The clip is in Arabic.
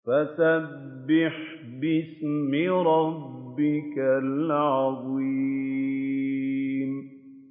فَسَبِّحْ بِاسْمِ رَبِّكَ الْعَظِيمِ